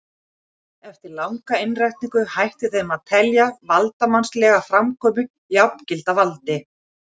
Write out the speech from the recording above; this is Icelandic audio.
Eftir langa innrætingu hætti þeim til að telja valdsmannslega framkomu jafngilda valdi.